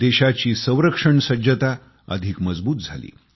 देशाची संरक्षणसज्जता अधिक मजबूत झाली